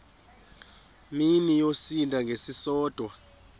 mini yosinda ngesisodwa